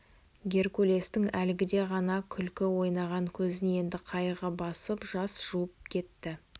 геркулестің әлгіде ғана күлкі ойнаған көзін енді қайғы басып жас жуып кетті